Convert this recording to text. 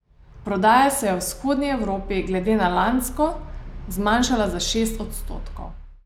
Prodaja se je v vzhodni Evropi glede na lansko zmanjšala za šest odstotkov.